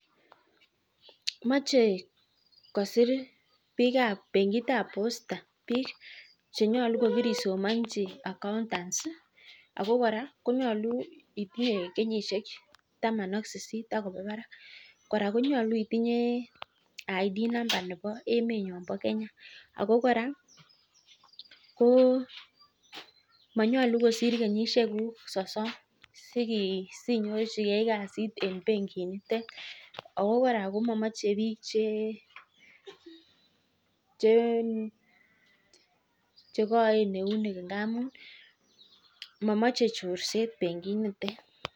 mache kosir bengiit tab posta bik chenyalu kokisomachi accountant Ako kora konyalu itinye kenyisiek taman ak sisit akeba barak kora konyalu itinye ID NAMBA nebo Kenya Ako kora ko manyalu kosir kenyisiek kuku sosom sinyorchike kasit en beng'it nitet chee ngamun mamache chorset